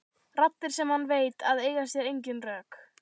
Raddir sem hann veit að eiga sér engin rök.